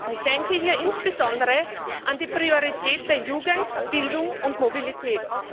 Ich denke hier insbesondere an die Prioritäten Jugend, Bildung und Mobilität.